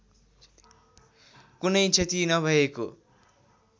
कुनै क्षति नभएको